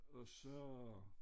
Og så